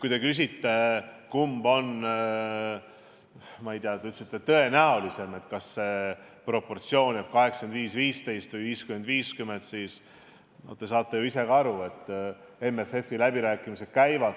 Kui te küsite, kumb on tõenäolisem, kas proportsioon 85 : 15 või 50 : 50, siis te saate ju ise ka aru, et MFF-i läbirääkimised alles käivad.